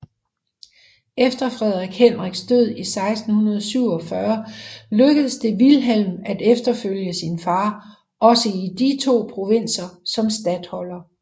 Efter Frederik Henriks død i 1647 lykkedes det Vilhelm at efterfølge sin far også i disse to provinser som statholder